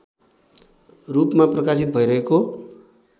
रूपमा प्रकाशित भइरहेको